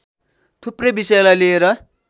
थुप्रै विषयलाई लिएर